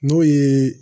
N'o ye